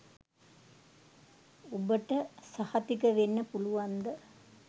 උබට සහතික වෙන්න පුලුවන්ද